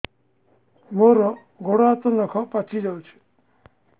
ମୋର ଗୋଡ଼ ହାତ ନଖ ପାଚି ଯାଉଛି